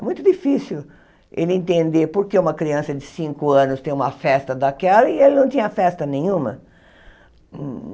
Muito difícil ele entender por que uma criança de cinco anos tem uma festa daquela e ele não tinha festa nenhuma.